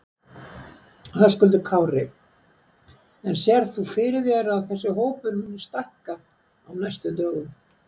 Höskuldur Kári: En sérð þú fyrir þér að þessi hópur muni stækka á næstu dögum?